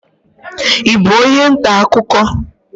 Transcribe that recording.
I bụ onye ntaakụkọ?